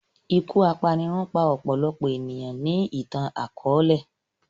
Iku apanirun pa ọpọlọpọ eniyan ni itan-akọọlẹ